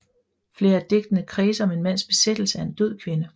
Flere af digtene kredser om en mands besættelse af en død kvinde